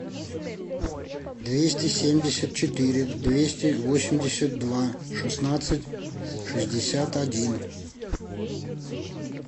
двести семьдесят четыре двести восемьдесят два шестнадцать шестьдесят один